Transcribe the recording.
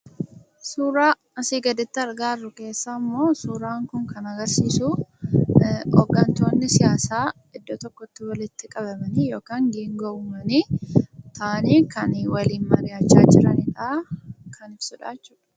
Suuraa asi gaditti argaa jirru keessammo suuraan kun kan agarsiisuu hoggantoonni siyaasa iddoo tokkotti walitti qabamanii yookan geengoo uummanii taa'aani kan waaliin mari'achaa jiran kan ibsudha jechuudha.